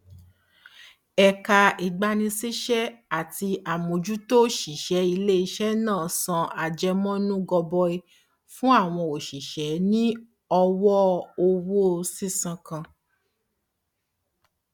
ẹka ìgbanisísẹ ati àmójútó òṣìṣẹ iléisẹ náà san àjẹmọnú gọbọí fún àwọn òṣìṣẹ ní ọwọ owó sísan kan